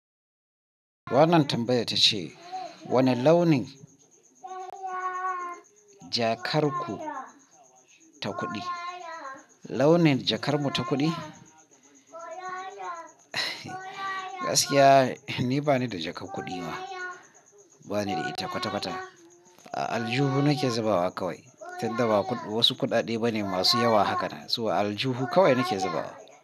Wannan tambayar tace wane launin jakar ku ta kuɗi? Launin jakar mu ta kuɗi? Gaskiya ni bani da jakar kuɗi ma, bani da ita kwata-kwata. A aljuhu nake zabawa kawai tunda wasu kuɗaɗe bane masu yawa hakana. Toh a aljuhu kawai nake zabawa.